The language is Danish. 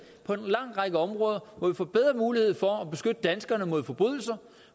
på en lang række områder hvor vi får bedre mulighed for at beskytte danskerne mod forbrydelser